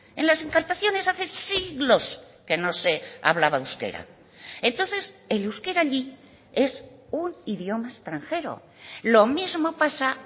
en las encartaciones hace siglos que no se hablaba euskera entonces el euskera allí es un idioma extranjero lo mismo pasa